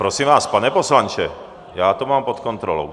Prosím vás, pane poslanče, já to mám pod kontrolou.